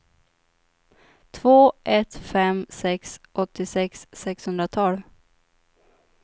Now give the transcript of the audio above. två ett fem sex åttiosex sexhundratolv